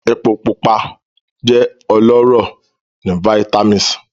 Palmoil jẹ ọlọrọ ni vitamis